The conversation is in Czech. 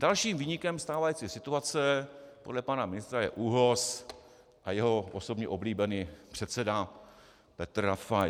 Dalším viníkem stávající situace podle pana ministra je ÚOHS a jeho osobně oblíbený předseda Petr Rafaj.